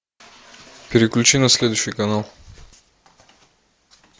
переключи на следующий канал